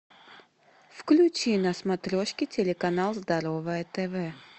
включи на смотрешке телеканал здоровое тв